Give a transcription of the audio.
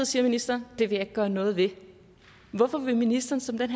siger ministeren det vil jeg ikke gøre noget ved hvorfor vil ministeren som den